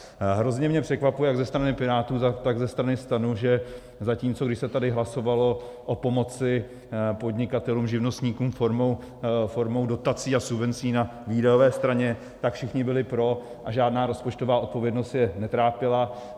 Hrozně mě překvapuje, jak ze strany Pirátů, tak ze strany STAN, že zatímco když se tady hlasovalo o pomoci podnikatelům, živnostníkům formou dotací a subvencí na výdajové straně, tak všichni byli pro a žádná rozpočtová odpovědnost je netrápila.